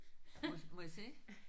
Må jeg må jeg se?